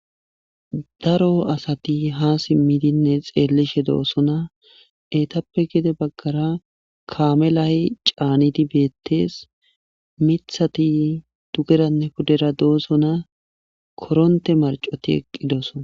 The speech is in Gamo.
daro asati ha simmidinne xeellishe doosona etappe gide baggara kaame la7y caanidi beettees mithati dugeranne pudera doosona koronte marcoti eqqi dooso